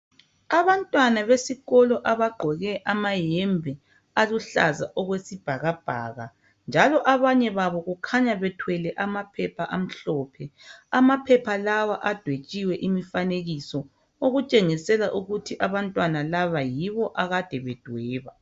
Abantwana besikolo abagqoke ama yembe aluhlaza okwesibhakabhaka, njalo abanye babo kukhanya bethwele amaphepha amhlophe. Amaphepha lawo adwetshiwe imifanekiso, okutshengisela ukuthi abantwana laba yibo akade bedweba.